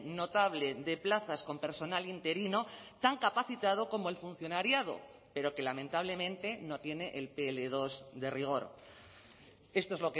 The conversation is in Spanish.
notable de plazas con personal interino tan capacitado como el funcionariado pero que lamentablemente no tiene el pe ele dos de rigor esto es